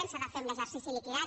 s’ha de fer amb l’exercici liquidat